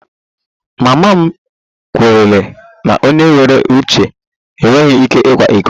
Mama m kweere na onye nwere uche enweghị ike ịkwa iko